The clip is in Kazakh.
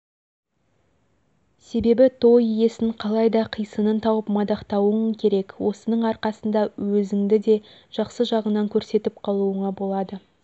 себебі той иесін қалайда қисынын тауып мадақтауың керек осының арқасында өзіңді де жақсы жағыңнан көрсетіп қалуыңа болады